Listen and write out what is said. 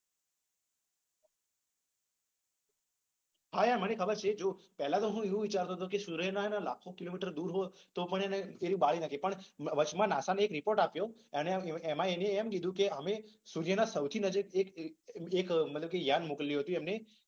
હા યાર મને ખબર છે. પેલા તો શું હુ એ વિચારતો હતો કે સુર્યના લાખો કિલોમીટર દુર હોઉ ને તો પણ એ બાળી નાખે પણ વચમાં નાસાએ એક રિપોર્ટ આપ્યો ત્યારે એમા એમને એમ કીધુ કે સુર્યના સૌથી નજીક એક એક મતલબ કે યાન મોક્લયુ હતુ.